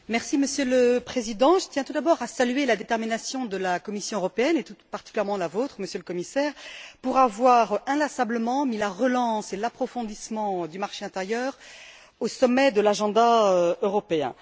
Monsieur le Président, je tiens tout d'abord à saluer la détermination de la Commission européenne et tout particulièrement la vôtre, Monsieur le Commissaire, pour avoir inlassablement mis la relance et l'approfondissement du marché intérieur au sommet de l'agenda européen.